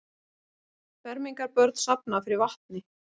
Fermingarbörn safna fyrir vatni